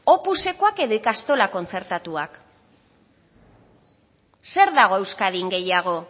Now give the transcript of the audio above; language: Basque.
opusekoak edo ikastola kontzertatuak zer dago euskadin gehiago